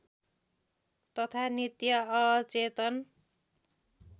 तथा नित्य अचेतन